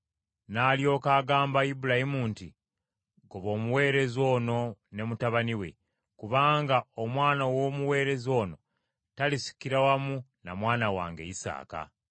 N’alyoka agamba Ibulayimu nti, “Goba omuweereza ono ne mutabani we, kubanga omwana w’omuweereza ono talisikira wamu na mwana wange Isaaka.”